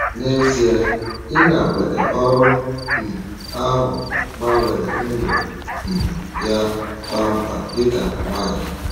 N’ezie, ịnakwere ọrụ um ahụ gbanwere ndụ um ya kpam kpam dị ka nwanyị.